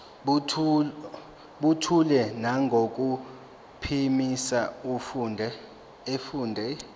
buthule nangokuphimisa efundela